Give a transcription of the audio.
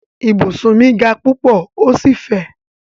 Ibùsùn mi ga púpọ̀ ó sì fẹ̀.